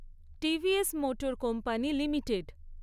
TVS motor company limited